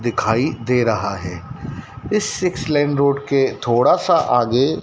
दिखाई दे रहा है इस सिक्स लाइन रोड के थोड़ा सा आगे--